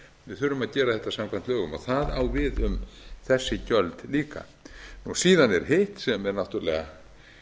við þurfum að gera þetta samkvæmt lögum það á við um þessi gjöld líka síðan er hitt sem er náttúrlega